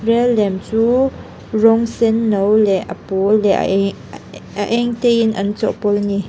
lem chu rawng senno leh a pawl leh a eng te in an chawhpawlh a ni.